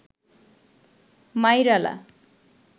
মাইরালা